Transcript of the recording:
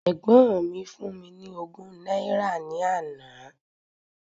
Ẹ̀gbọ́n mi fún mi ní ogún náírà ní àná.